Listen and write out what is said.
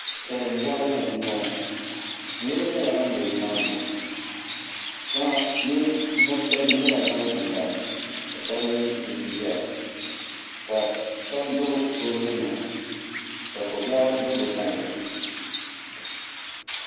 Saliŋ bɔɣili ni m bɔŋɔ niriba nyɛla ban be nimaani shɛŋa ninvuɣ shɛb nyɛla ban gbangbaya ka shɛb mi yiɣisi zaya ka shɛb gbubi soobulinima ka ko biɛɣu do bɛ sani